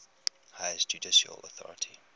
highest judicial authority